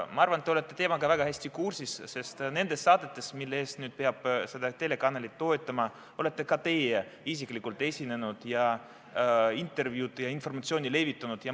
Ma arvan, te olete teemaga väga hästi kursis, sest nendes saadetes, mille tõttu peab nüüd seda telekanalit toetama, olete ka teie isiklikult esinenud ja intervjuud andnud ja informatsiooni levitanud.